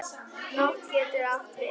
Nótt getur átt við